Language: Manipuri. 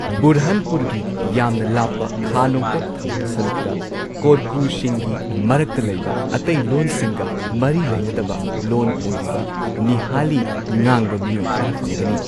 ꯕꯨꯔꯍꯥꯟꯄꯨꯔꯒꯤ ꯌꯥꯝꯅ ꯂꯥꯞꯄ ꯈꯥ ꯅꯣꯡꯄꯣꯛ ꯊꯪꯕ ꯁꯔꯨꯛꯇ ꯀꯣꯔꯀꯨꯁꯤꯡꯒꯤ ꯃꯔꯛꯇ ꯂꯩꯕ ꯑꯇꯩ ꯂꯣꯟ ꯁꯤꯡꯒ ꯃꯔꯤ ꯂꯩꯅꯗꯕ ꯂꯣꯟ ꯑꯣꯏꯔꯤꯕ ꯅꯤꯍꯥꯂꯤ ꯉꯥꯡꯕ ꯃꯤꯑꯣꯏ ꯈꯔ ꯐꯪꯒꯅꯤ꯫